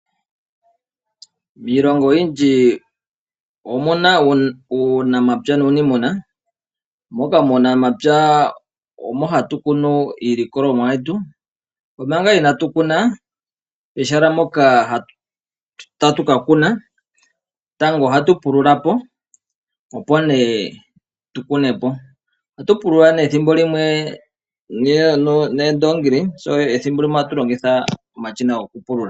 Miilongo oyindji omuna uunamapya nuunimuna, moka muunamapya omo hatukunu iilikolomwa yetu. Omanga ina tukuna peshaala mpoka tatukakuna tango ohatupululapo, opo nee tukunepo. Ohatupulula nee ethimbo limwe neendoongili eethimbo limwe ohatulongitha omashina gokupulula.